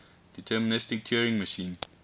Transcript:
deterministic turing machine